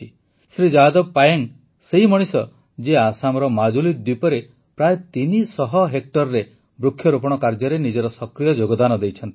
ଶ୍ରୀ ଯାଦବ ପାୟେଙ୍ଗ ସେହି ମଣିଷ ଯିଏ ଆସାମର ମାଜୁଲି ଦ୍ୱୀପରେ ପ୍ରାୟ ୩୦୦ ହେକ୍ଟରରେ ବୃକ୍ଷରୋପଣ କାର୍ଯ୍ୟରେ ନିଜର ସକ୍ରିୟ ଯୋଗଦାନ ଦେଇଛନ୍ତି